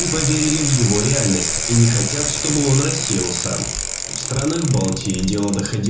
поверили в его реальность и не хотят чтобы он рассеялся в странах балтии дела